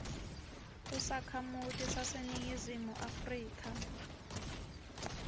usakhamuti saseningizimu afrika